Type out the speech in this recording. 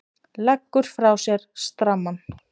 Leggur frá sér strammann.